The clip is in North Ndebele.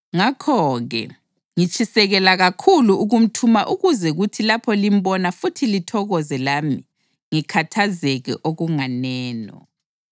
Ngakho-ke, ngitshisekela kakhulu ukumthuma ukuze kuthi lapho limbona futhi lithokoze lami ngikhathazeke okunganeno.